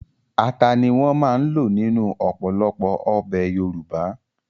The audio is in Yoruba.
Ata ni wọ́n máa ń lò nínú ọ̀pọ̀lọpọ̀ ọbẹ̀ Yorùbá